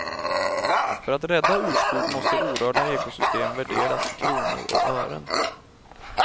För att rädda urskog måste orörda ekosystem värderas i kronor och ören.